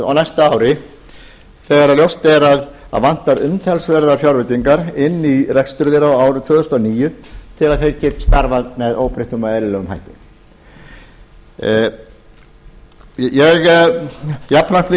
á næsta ári þegar ljóst er að vantar umtalsverðar fjárveitingar inn í rekstur þeirra á árinu tvö þúsund og níu þegar þeir geti starfað með óbreyttum og eðlilegum hætti jafnframt vil